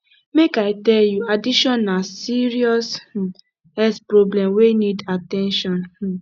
make i tell you addiction na serious um health problem wey need at ten tion um